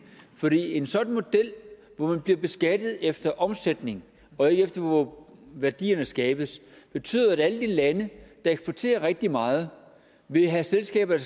for en sådan model hvor man bliver beskattet efter omsætning og ikke efter hvor værdierne skabes betyder at alle de lande der eksporterer rigtig meget vil have selskaber